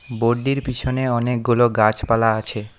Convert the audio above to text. Board -টির পিছনে অনেকগুলো গাছপালা আছে।